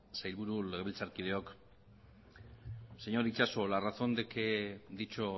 sailburu legebiltzarkideok señor itxaso la razón de que dicho